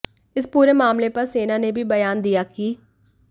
इस पूरे मामले पर सेना ने भी बयान दिया कि